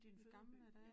Din fødeby ja